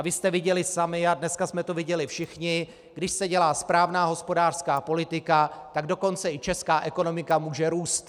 A vy jste viděli sami, a dneska jsme to viděli všichni, když se dělá správná hospodářská politika, tak dokonce i česká ekonomika může růst.